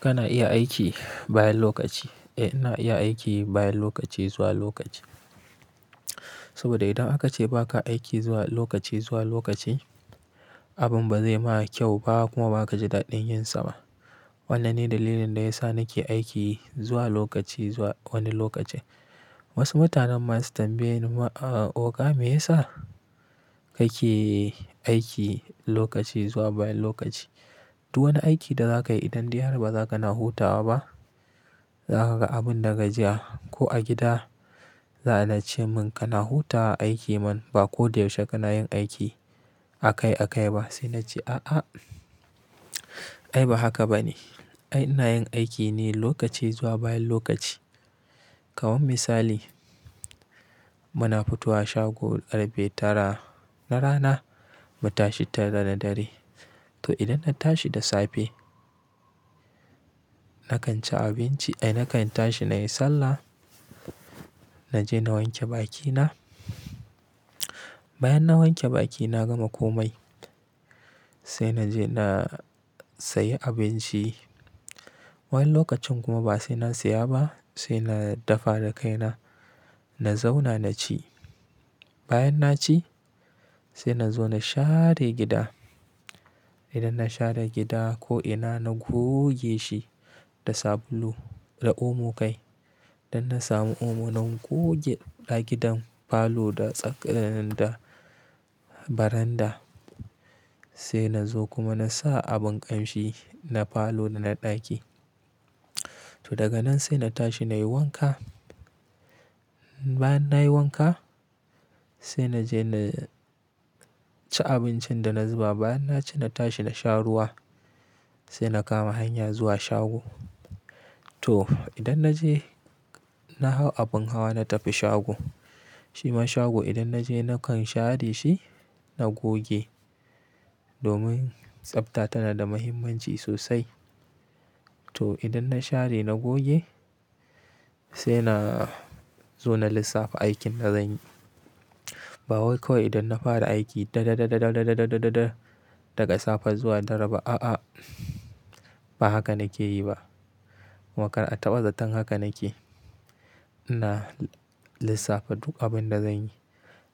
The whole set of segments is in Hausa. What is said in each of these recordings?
Kana iya aiki bayan lokaci, eh na iya aiki bayan lokaci zuwa lokaci. Saboda idan aka ce baka aiki zuwa lokaci zuwa lokaci abin ba zai ma kyau ba kuma baka ji daɗin yin sa ba. Wanna ne dalilin da yasa nake aiki zuwa lokaci zuwa wani lokaci. Wasu mutanen masu tambaye ni ma, oga me yasa kake aiki lokaci zuwa bayan lokaci? Duk wani aiki da zaka yi idan diyar bazaka na hutawa ba, zaka ga abin da gajiya ko a gida za a ce mun kana hutawa aiki man ba ko da yaushe kana yin aiki a kai a kai ba. Sai na ce a a ai ba haka ba ne. Ai na yin aiki ne lokaci zuwa bayan lokaci. Kamar misali muna fito wa shago karfe tara na rana mu tashi tara na dare. To idan na tashi da safe nakan ci abinci ai nakan tashi na yi sallah, na je na wanke bakina. Bayan na wanke baki na gama komai sai na je na sayi abinci. Wani lokacin kuma ba sai na saya ba sai na dafa da kaina na zauna na ci. Bayan na ci sai na zo na share gida. Idan na share gida ko ina na goge shi da sabulu da omo kai. Dan na samu omo na goge ɗa gidan falo da tsak-- da baranda sai na zo kuma na sa abun ƙamshi na falo da na ɗaki. To daga nan sai na tashi na yi wanka. Bayan na yi wanka sai na je na ci abincin da na zuba. Bayan na ci na tashi na sha ruwa sai na kama hanya zuwa shago. To idan na je na hau abin hawa na tafi shago. Shima shago idan na je nakan share shi na goge domin tsafta tana da muhimmanci sosai. To idan na share na goge sai na zo na lissafa aikin da zanyi. Ba wai kawai idan na fara aiki da da da da da daga safe zuwa dare ba a'a ba haka nake yi ba. Kuma kar a taɓa zatan haka nake ina lissafa duk abin da zanyi.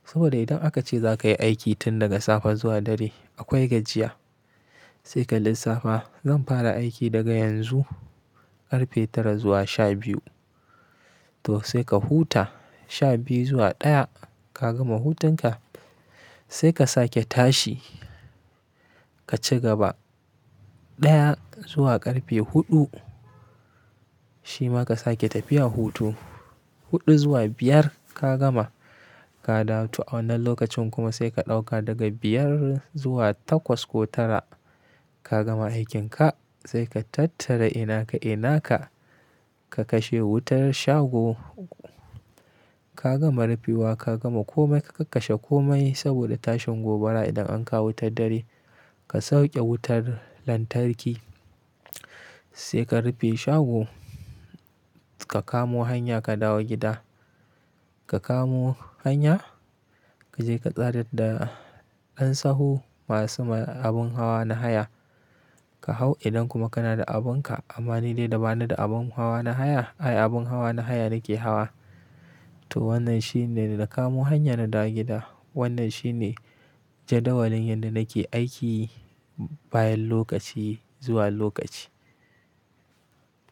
Saboda idan aka ce za ka yi aiki tun daga safe zuwa dare akwai gajiya. Sai ka lissafa zan fara aiki daga yanzu karfe tara zuwa sha biyu. To sai ka huta sha biyu zuwa ɗaya ka gama hutunka sai ka sake tashi ka ci gaba. Ɗaya zuwa ƙarfe huɗu shima ka sake tafiya hutu. Huɗu zuwa biyar ka gama ka dawo to a wannan lokacin kuma sai ka ɗauka daga biyar zuwa takwas ko tara ka gama aikin ka. Sai ka tattara ina ka ina ka, ka kashe wutar shago ka gama rufewa ka gama komai ka kakkashe komai saboda tashin gobara idan an kawo ta dare. Ka sauke wutar lantarki sai ka rufe shago ka kamo hanya ka dawo gida. Ka kamo hanya ka je ka tsadar da ɗansahu masu abun hawa na haya ka hau idan kuma kana da abin ka. Amma ni dai ba ni da abun hawa na haya, ai abun hawa na haya nake hawa. To wannan shine da na kamo hanya na dawo gida. Wannan shine jadawalin yadda nake aiki bayan lokaci zuwa lokaci.